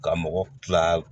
Ka mɔgɔ kila